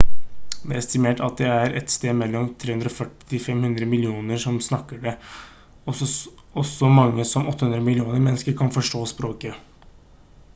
det er estimert at det er et sted mellom 340 til 500 millioner som snakker det og så mange som 800 millioner mennesker kan forstå språket